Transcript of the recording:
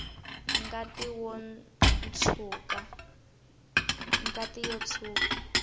ngati yo tshwuka